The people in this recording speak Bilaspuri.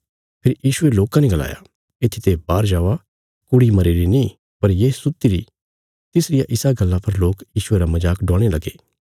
फेरी यीशुये लोकां ने गलाया इत्थीते बाहर जावा कुड़ी मरीरी नीं पर ये सुत्ती री तिसरिया इसा गल्ला पर लोक यीशुये रा मजाक डवाणे लगे